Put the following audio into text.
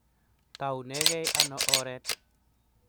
taunegei ano oret?